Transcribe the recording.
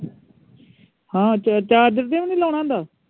ਹਾਂ charger ਤੇ ਵੀ ਨਹੀਂ ਲਾਉਣਾ ਹੁੰਦਾ